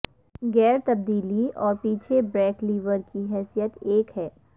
gear تبدیلی اور پیچھے بریک لیور کی حیثیت ایک ہے